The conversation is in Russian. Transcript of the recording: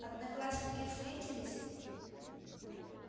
одноклассники встретились